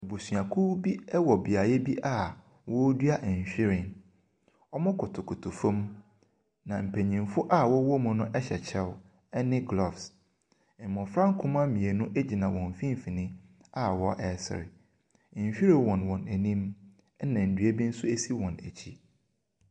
Abusuakuo bi ɛwɔ beaeɛ bi a wɔredua nwhiren. Wɔkotokoto fam, na mpanyinfo na wɔn wɔ mu no hyɛ kyɛw ɛne gloves. Mmɔfra nkumaa mmienu egyina wɔn mfimfinn a wɔresre. Nhwiren wɔ wɔn anim ɛna dua bi nso si wɔn akyi.